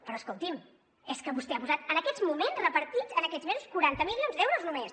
però escolti’m és que vostè ha posat en aquests moments repartits en aquests mesos quaranta milions d’euros només